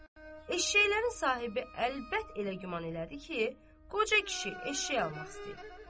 Eşşəyin sahibi əlbəttə elə güman elədi ki, qoca kişi eşşək almaq istəyir.